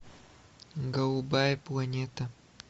голубая планета